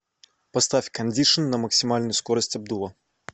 поставь кондишн на максимальную скорость обдува